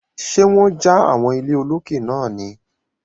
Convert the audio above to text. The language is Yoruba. Ṣé wọ́n ja àwọn ilé olókè náà ni?